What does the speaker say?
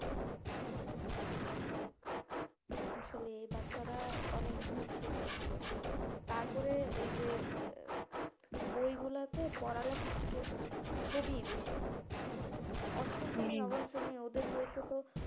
আসলে এই বাচ্চারা অনেক ভুল শিখতেছে তারপরে এই যে উম বইগুলোতে পড়ালেখার থেকে ছবি বেশি অষ্টম ওদের বইতে তো,